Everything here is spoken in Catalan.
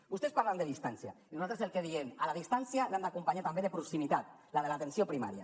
vostès parlen de distància i nosaltres diem que la distància l’hem d’acompanyar també de proximitat la de l’atenció primària